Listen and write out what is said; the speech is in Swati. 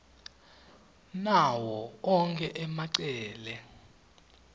nawo onkhe emacele